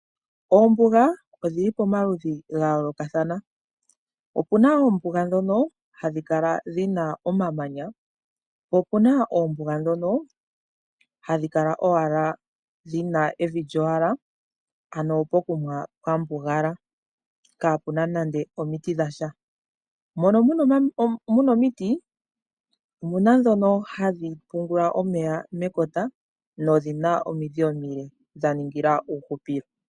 Oombuga odhili pamaludhi ga yolokathana. Opuna oombuga dhono hadhi kala dhina omamanya. Po opuna oombuga dhono hadhi kala owala dhina evi lyowala ano pokuma pwa mbugala kaa puna nande omiiti dhasha. Mono muna omiiti omuna dhono hadhi pumbwa omeya mekota nodhina omiidhi omile dha ningila uhupilo.